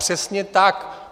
Přesně tak.